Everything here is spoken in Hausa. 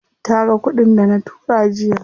Taga kuɗin dana tura jiya.